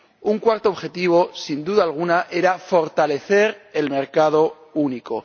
Un cuarto objetivo, sin duda alguna, era fortalecer el mercado único.